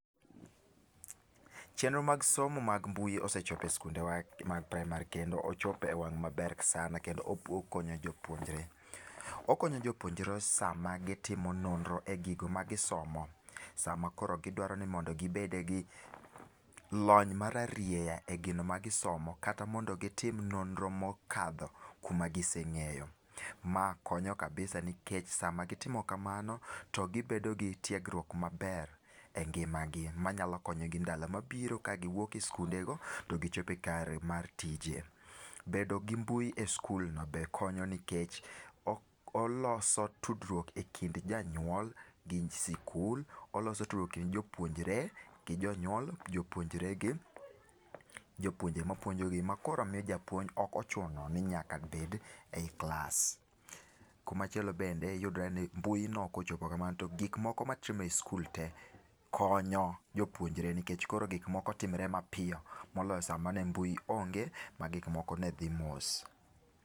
Chenro mag somo mag mbui osechopo e sikundewa mag praimar kendo ochopo ewang' maber sana kendo okonyo jopuonjre. Okonyo jopuonjre sama gitimo nonro e gigo magisomo, sama koro gidwaro ni mondo gibede gi lony mararieya e gino magisomo kata mondo gitim nonro mokadho kuma gise ng'eyo. Ma konyo kabisa nikech samagitimo kamano to gibedo gi tiegruok maber engima gi manyalo konyogi e ndalo mabiro ka giwuok e sikundego to gichopo kare mar tije. Bedo gi mbui e sikul no be konyo nikech oloso tudruok ekind janyuol gi sikul, oloso tudruok ekind jopuonjre gi jonyuol, jopuonjre gi jopuonje mapuonjogi makoro miyo japuonj ok ochuno ni nyaka bed ei klas. Kumachielo bende yudre ni mbui no kochopo kamano to gik moko matimre e sikul te konyo jopuonjre nikech koro gik moko timre mapiyo moloyo sama ne mbui onge magik moko ne dhi mos.